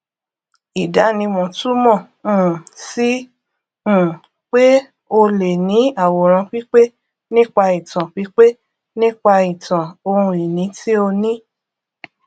ìdánimọ túmọ um sí um pé o lè ní àwòrán pípé nípa ìtàn pípé nípa ìtàn ohun ìní tí ó ní